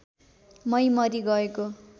मै मरी गएको